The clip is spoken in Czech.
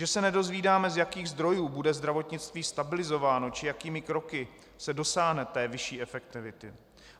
Že se nedozvídáme, z jakých zdrojů bude zdravotnictví stabilizováno či jakými kroky se dosáhne té vyšší efektivity.